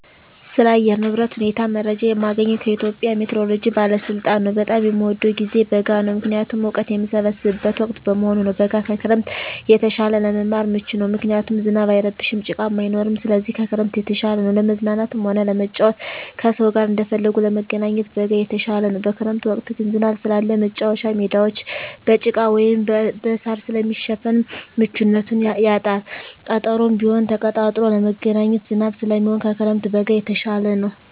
ስለ አየር ንብረት ሁኔታ መረጃ የማገኘዉ ከኢትዮጵያ ሜትሮሎጂ ባለስልጣን ነዉ። በጣም የምወደዉ ጊዜ በጋ ነዉ ምክንያቱም እወቀት የምሰበስብበት ወቅት በመሆኑ ነዉ። በጋ ከክረምት የተሻለ ለመማር ምቹ ነዉ ምክንያቱም ዝናብ አይረብሽም ጭቃም አይኖርም ስለዚህ ከክረምት የተሻለ ነዉ። ለመዝናናትም ሆነ ለመጫወት ከሰዉ ጋር እንደፈለጉ ለመገናኘት በጋ የተሻለ ነዉ። በክረምት ወቅት ግን ዝናብ ስላለ መቻወቻ ሜዳወች በጭቃ ወይም በእሳር ስለሚሸፈን ምቹነቱን ያጣል ቀጠሮም ቢሆን ተቀጣጥሮ ለመገናኘት ዝናብ ስለሚሆን ከክረምት በጋ የተሻለ ነዉ።